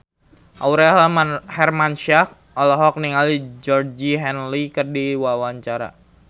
Aurel Hermansyah olohok ningali Georgie Henley keur diwawancara